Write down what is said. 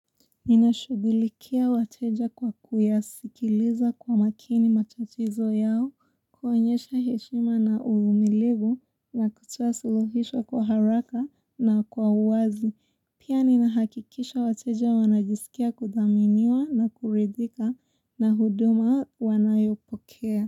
Ninashugulikia wateja kwa kuyasikiliza kwa makini matatizo yao, kuonyesha heshima na uvumilivu na kutoa suluhisho kwa haraka na kwa uwazi. Pia ninahakikisha wateja wanajisikia kudhaminiwa na kuridhika na huduma wanayopokea.